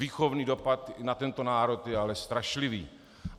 Výchovný dopad na tento národ je ale strašlivý.